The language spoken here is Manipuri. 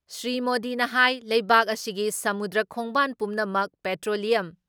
ꯁ꯭ꯔꯤ ꯃꯣꯗꯤꯅ ꯍꯥꯏ ꯂꯩꯕꯥꯛ ꯑꯁꯤꯒꯤ ꯁꯃꯨꯗ꯭ꯔ ꯈꯣꯡꯕꯥꯟ ꯄꯨꯝꯅꯃꯛ ꯄꯦꯇ꯭ꯔꯣꯂꯤꯌꯝ